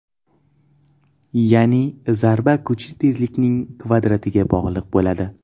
Ya’ni zarba kuchi tezlikning kvadratiga bog‘liq bo‘ladi.